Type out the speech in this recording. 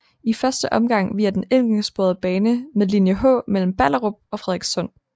I første omgang via den enkeltsporede bane med linje H mellem Ballerup og Frederikssund